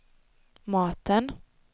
maten